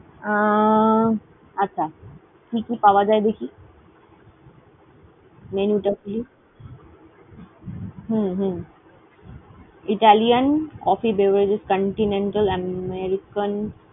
আহ আচ্ছা, কি কি পাওয়া যায় দেখি। menu টা কি। হুম হুম Italian, Coffee, Beverages, Continental, American